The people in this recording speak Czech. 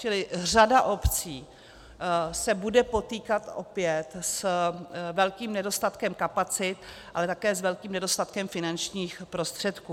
Čili řada obcí se bude potýkat opět s velkým nedostatkem kapacit, ale také s velkým nedostatkem finančních prostředků.